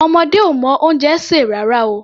Ọmọdé ò mọ oúnjẹ sè rárá o.